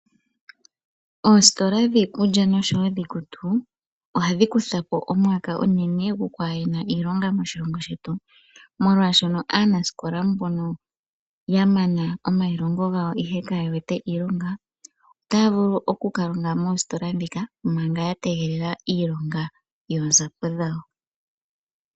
Oositola dhiikulya oshowo dhiikutu ohadhi kutha po omwaka /ehala onene gu hena iilonga moshilongo shetu, molwaashoka aanasikola mbono yamana omailongo gawo ihe kaye wete iilonga otaya vulu oku kalonga moositola ndhika manga ya tegelela iilonga yoonzapo dhawo.